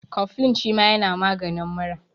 Kofilin shima yana maganin mura